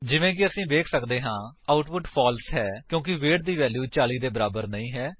ਜਿਵੇਂ ਕਿ ਅਸੀ ਵੇਖ ਸੱਕਦੇ ਹਾਂ ਆਉਟਪੁਟ ਫਾਲਸ ਹੈ ਕਿਉਂਕਿ ਵੇਟ ਦੀ ਵੈਲਿਊ 40 ਦੇ ਬਰਾਬਰ ਨਹੀਂ ਹੈ